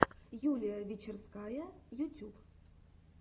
юлия вечерская ютюб